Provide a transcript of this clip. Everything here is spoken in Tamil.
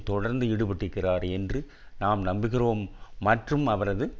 தொடர்ந்து ஈடுபட்டிருக்கிறார் என்று நாம் நம்புகிறோம் மற்றும் அவரது